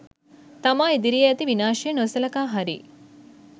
තමා ඉදිරියේ ඇති විනාශය නොසළකා හරියි